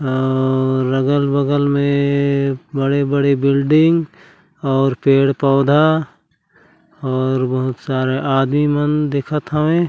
और अगल-बगल में बड़े-बड़े बिल्डिंग और पेड़-पौधा और बहुत सारे आदमी मन दिखत हवे।